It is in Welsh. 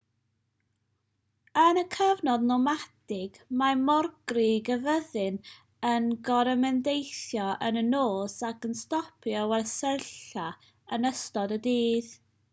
yn y cyfnod nomadig mae morgrug y fyddin yn gorymdeithio yn y nos ac yn stopio i wersylla yn ystod y dydd